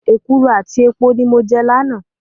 Èkuru àti epo ni mo jẹ lánàá.